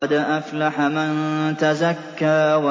قَدْ أَفْلَحَ مَن تَزَكَّىٰ